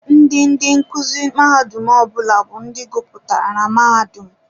Ndị ndị nkuzi mahadum ọbụla bụ ndị guputara na mahadum.